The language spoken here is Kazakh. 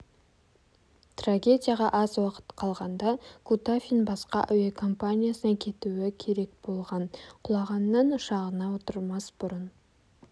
трагедияға аз уақыт қалғанда кутафин басқа әуе компаниясына кетуі керек болған құлаған ан ұшағына отырмас бұрын